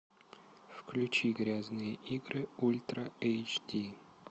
включи грязные игры ультра эйч ди